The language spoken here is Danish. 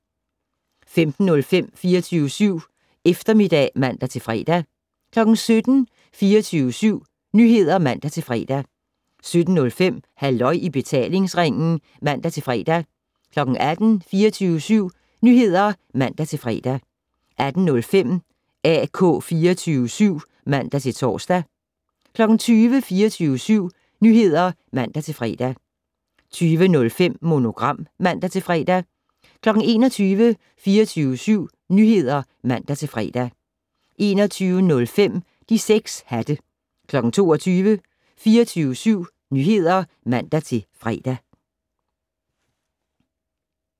15:05: 24syv Eftermiddag (man-fre) 17:00: 24syv Nyheder (man-fre) 17:05: Halløj i betalingsringen (man-fre) 18:00: 24syv Nyheder (man-fre) 18:05: AK 24syv (man-tor) 20:00: 24syv Nyheder (man-fre) 20:05: Monogram (man-fre) 21:00: 24syv Nyheder (man-fre) 21:05: De 6 hatte 22:00: 24syv Nyheder (man-fre)